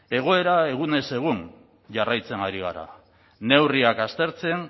egoera egunez egun jarraitzen ari gara neurriak aztertzen